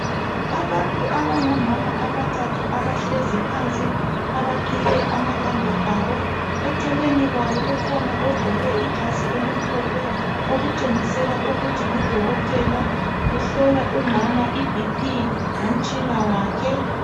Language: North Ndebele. Abantu abongomama abathathu abahlezi phansi abaqhiye amakhanda abo eceleni kwabo kukhona ogqoke ijazi elimhlophe okutshengisela ukuthi ngudokotela umhlola umama ibp ngotshina wakhe